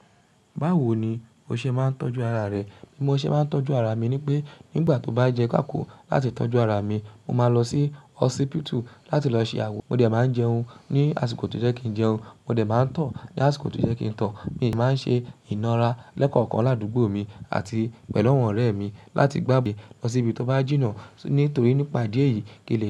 Báwo ni o ṣe máa ń tọ́jú ara rẹ? Bí mo ṣe máa ń tọ́jú ara mi ni pé nígbà tó bá jẹ́ ká kù láti tọ́jú ara mi, mo máa lọ sí hospital láti lọ ṣe àwọ, mo dẹ̀ máa ń jẹun ní àsìkò tí ó jẹ́ kí n jẹun, mo dẹ̀ máa ń tọ̀ ní àsìkò tí ó jẹ́ kí n tọ̀. Mi máa ń ṣe ìnara lẹ́kọ̀ọ̀kan ládùúgbò mi àti pẹ̀lú àwọn ọ̀rẹ́ mi láti gbàgbé lọ sí ibi tó bá jìnnà. Nítorí nípa ìdí eyìí kèlè.